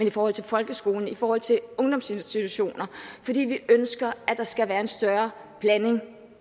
i forhold til folkeskolen og i forhold til ungdomsinstitutioner fordi vi ønsker at der skal være en større blanding